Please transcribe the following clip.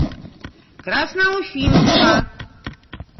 красноуфимска